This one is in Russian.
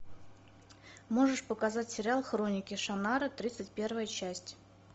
можешь показать сериал хроники шаннары тридцать первая часть